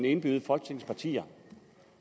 indbyde folketingets partier